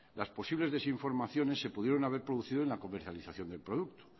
las posibles desinformaciones se pudieron haber producido en la comercialización del producto